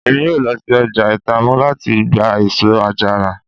Emi yoo lọ si ọja Itamu lati gba eso-ajara